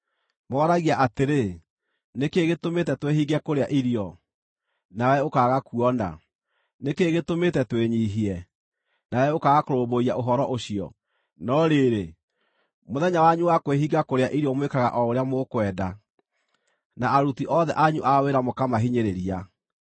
Moragia atĩrĩ, ‘Nĩ kĩĩ gĩtũmĩte twĩhinge kũrĩa irio, nawe ũkaaga kuona? Nĩ kĩĩ gĩtũmĩte twĩnyiihie, nawe ũkaaga kũrũmbũiya ũhoro ũcio?’ “No rĩrĩ, mũthenya wanyu wa kwĩhinga kũrĩa irio mwĩkaga o ũrĩa mũkwenda, na aruti othe anyu a wĩra mũkamahinyĩrĩria.